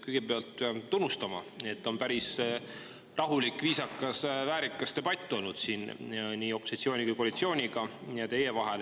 Kõigepealt pean tunnustama, et on päris rahulik, viisakas, väärikas debatt olnud siin teie ja nii opositsiooni kui koalitsiooni vahel.